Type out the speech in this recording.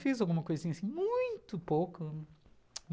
Fiz alguma coisinha assim, muito pouco.